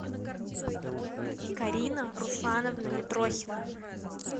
карина руслановна митрохина